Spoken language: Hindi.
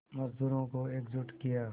मज़दूरों को एकजुट किया